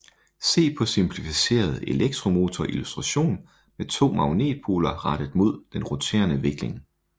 Se på simplificeret elektromotor illustration med to magnetpoler rettet mod den roterende vikling